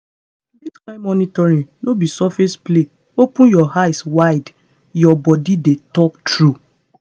this kain monitoring no be surface play open your eye wide your body dey talk true.